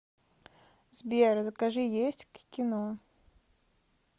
сбер закажи есть к кино